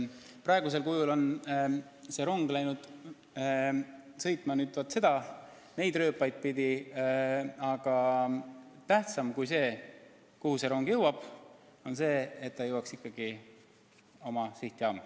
Praegusel kujul on see rong läinud sõitma neid rööpaid pidi, aga tähtsam kui see, kuhu see rong jõuab, on see, et ta jõuaks ikkagi oma sihtjaama.